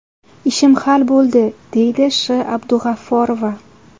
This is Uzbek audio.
Ishim hal bo‘ldi”, deydi Sh.Abdug‘afforova.